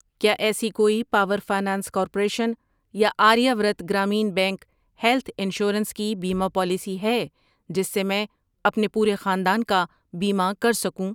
کیا ایسی کوئی پاور فنانس کارپوریشن یا Aryavart Gramin bank health insurance کی بیمہ پالیسی ہے جس سے میں اپنے پورے خاندان کا بیمہ کر سکوں؟